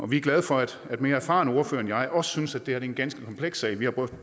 vi er glade for at mere erfarne ordførere end jeg også synes at det her er en ganske kompleks sag vi har brugt